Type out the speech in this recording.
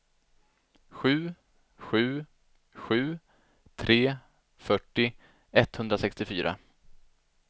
sju sju sju tre fyrtio etthundrasextiofyra